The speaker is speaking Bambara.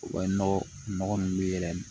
U ka nɔgɔ ninnu yɛrɛ